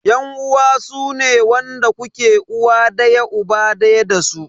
Yan uwa sune wanda kuke uwa daya uba daya dasu.